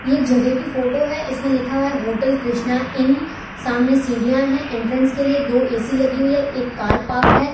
ये जगह की फोटो है इसमें लिखा हुआ है होटल कृष्णा इन सामने सीढ़ियां हैं एंट्रेंस के लिए दो ए_सी लगी हुई है एक कार पार्क है।